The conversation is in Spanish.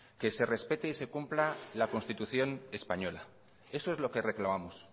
que se respete y se cumpla la constitución española eso es lo que reclamamos